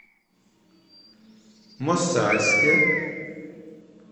мосальске